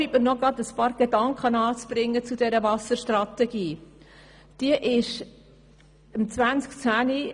Erlauben Sie mir nun noch einige Gedanken zu dieser Wasserstrategie auszuführen.